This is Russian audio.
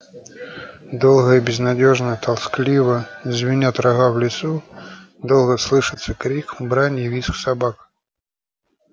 долго и безнадёжно-тоскливо звенят рога в лесу долго слышится крик брань и визг собак